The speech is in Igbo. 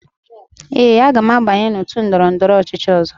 Ee, aga m abanye n'otu ndọrọndọrọ ọchịchị ọzọ.